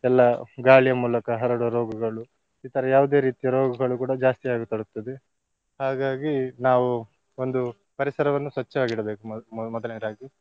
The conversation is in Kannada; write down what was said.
ಎಲ್ಲಾ ಗಾಳಿಯ ಮೂಲಕ ಹರಡುವ ರೋಗಗಳು ಈ ತರ ಯಾವುದೇ ರೀತಿಯ ರೋಗಗಳು ಕೂಡ ಜಾಸ್ತಿ ಆಗ ತೊಡಗ್ತದೆ. ಹಾಗಾಗಿ ನಾವು ಒಂದು ಪರಿಸರವನ್ನು ಸ್ವಚ್ಚವಾಗಿ ಇಡಬೇಕು ಮೊ~ ಮೊದಲನೆಯದಾಗಿ.